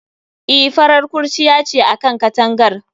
E, farar kurciya ce a kan katangar